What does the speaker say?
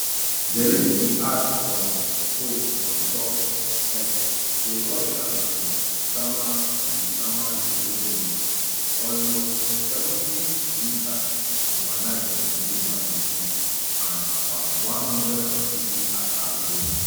zelensky add for um post ontop x say russia bin sama bin sama ukraine wit um almost seventy missiles overnight including ballistic and about one hundred and fifty attack drones